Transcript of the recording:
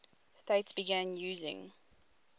states began using